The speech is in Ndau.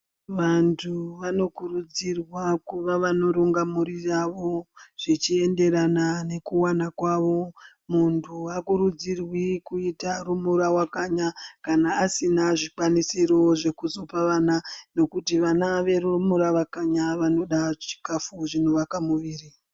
Vanthu vanokurudzirwa kuva vanoronga mhuri yavo zvichienderana nekuwana kwavo, munthu aakurudzirwi kuita rumura wakanya kana asina zvikwanisiro zvekuzopa vana ngekuti vana verumura wakanya vanoda chikafu chinowaka mwiri.